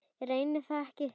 Reyni það ekki.